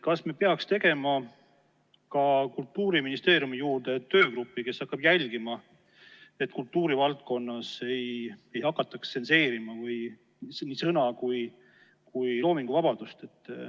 Kas me peaks tegema ka Kultuuriministeeriumi juurde töögrupi, kes hakkab jälgima, et kultuurivaldkonnas ei hakataks tsenseerima ei sõna- ega loominguvabadust?